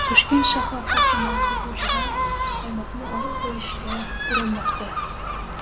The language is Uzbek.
Toshkent shahar hokimi sotuvchidan muzqaymoqni olib qo‘yishga urinmoqda.